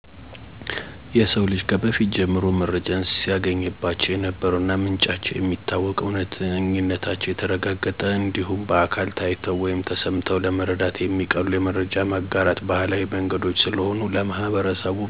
የሰው ልጅ ከበፊት ጀምሮ መረጃን ሲያገኝባቸው የነበሩ እና ምንጫቸው የሚታወቅ፣ እውነተኝነታቸው የተረጋገጠ እንዲሁም በአካል ታይተው ወይም ተሰምተው ለመረዳት የሚቀሉ የመረጃ ማጋራት ባህላዊ መንገዶች ስለሆኑ ለማህበረሰቡ በጣም አስፈላጊ ናቸው። ምንም እንኳን ዘመናዊ የመረጃ ማጋራት ዘዴዎች ቢስፋፉም ምንጮቹን ለማረጋገጥና እውነተኝነታቸውን ለማወቅ አዳጋች ስለሚሆን የማህበረሰብ ስብሰባዎችና የቤተክርስቲያን ማስታወቂያ ዎች ጠቃሚ ዘዴዎች ሆነው እንዲቀጥሉ አድርጓቸዋል። በዚህም ባህላዊ የመረጃ መሰብሰቢያ መንገዶች የተሻለ ጠቀሜታ እና አፈፃፀም አላቸው።